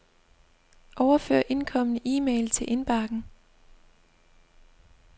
Overfør indkomne e-mail til indbakken.